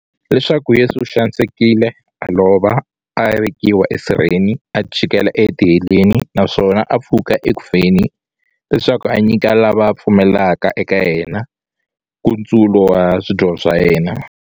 Leswaku Yesu u xanisekile, a lova, a vekiwa esirheni, a chikela etiheleni, naswona a pfuka eku feni, leswaku a nyika lava va pfumelaka eka yena, nkutsulo wa swidyoho swa vona.